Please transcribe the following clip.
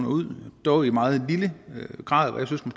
ud dog i meget lille grad